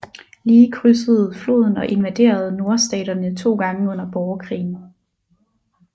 Lee krydsede floden og invaderede Nordstaterne to gange under borgerkrigen